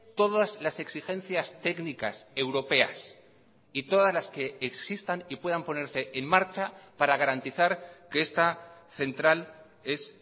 todas las exigencias técnicas europeas y todas las que existan y puedan ponerse en marcha para garantizar que esta central es